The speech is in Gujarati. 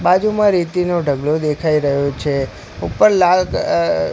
બાજુમાં રેતીનો ઢગલો દેખાય રહ્યો છે ઉપર લાલ અ--